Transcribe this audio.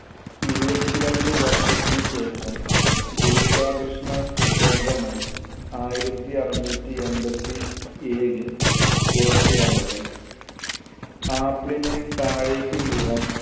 ഇരുപത്തി രണ്ട് വർഷത്തിനുശേഷം ഗുരുത്വാകർഷണ സിദ്ധാന്തമായി ആയിരത്തി അറുനൂറ്റി എൺപത്തി ഏഴിൽ പുറത്തുവന്നത്. ആപ്പിളിനെ താഴേക്ക് വീഴാൻ